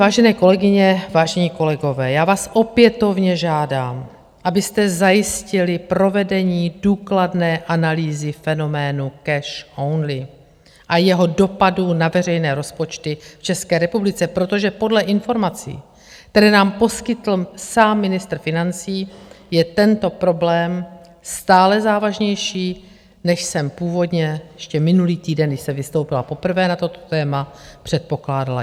Vážené kolegyně, vážení kolegové, já vás opětovně žádám, abyste zajistili provedení důkladné analýzy fenoménu cash only a jeho dopadů na veřejné rozpočty v České republice, protože podle informací, které nám poskytl sám ministr financí, je tento problém stále závažnější, než jsem původně ještě minulý týden, když jsem vystoupila poprvé na toto téma, předpokládala.